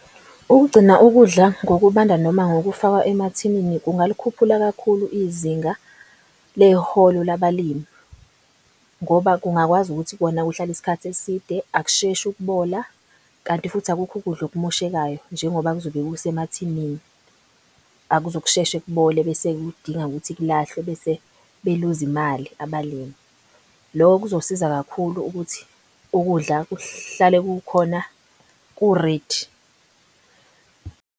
Ukugcina ukudla ngokubanda noma ngokufakwa emathilini kungalikhuphula kakhulu izinga leholo labalimi. Ngoba kungakwazi ukuthi kona kuhlale isikhathi eside akusheshi ukubola kanti futhi akukho ukudla okumoshekayo. Njengoba kuzobe kusemathinini akuzukusheshe kubole bese kudinga ukuthi kulahlwe bese beluzi imali abalimi. Loko kuzosiza kakhulu ukuthi ukudla kuhlale kukhona kuredi.